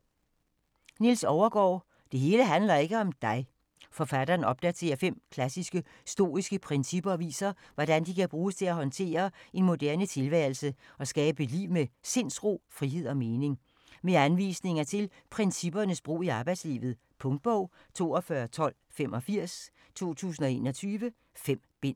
Overgaard, Niels: Det hele handler ikke om dig Forfatteren opdaterer fem klassiske, stoiske principper og viser, hvordan de kan bruges til at håndtere en moderne tilværelse og skabe et liv med sindsro, frihed og mening. Med anvisninger til princippernes brug i arbejdslivet. Punktbog 421285 2021. 5 bind.